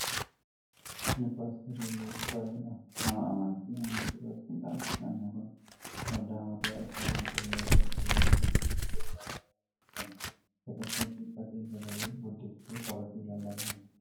Kun Paator Iyyuu Cufaa jedhama. Nama amantaa Amantii Pirotestaantiiti. Nami kun waldaa mataa isaa kan qabu yoo ta'u, Yeroo baay'ee wangeela lallabuudhaan beekama. Uffata suufii uffatee sagalee guddiftuu qabatee lallabaa jira.